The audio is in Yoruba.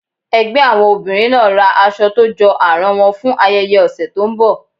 ẹgbẹ àwọn obìrin naa ra aṣọ to jọ aràn won fún ayẹyẹ òsé tó n bò.